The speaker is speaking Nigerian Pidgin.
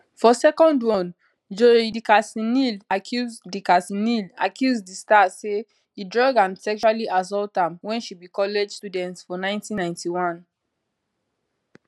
for second one joi dickersonneal accuse dickersonneal accuse di star say e drug and sexually assault am wen she be college student for 1991